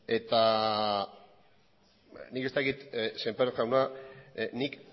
nik ez dakit semper jauna nik